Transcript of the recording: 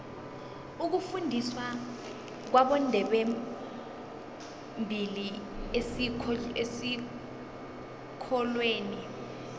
ukufundiswa kwabondebembili esikolweni